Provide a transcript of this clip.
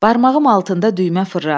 Barmağım altında düymə fırlanır.